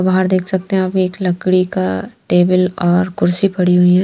बाहर देख सकते हैं आप एक लकड़ी का टेबल और कुर्सी पड़ी हुई है।